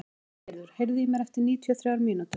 Valgerður, heyrðu í mér eftir níutíu og þrjár mínútur.